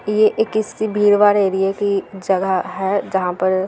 ये इसकी एक भीड़-भाड़ एरिया की जगह है जहां पर --